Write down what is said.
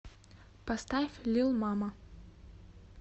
поставь лил мама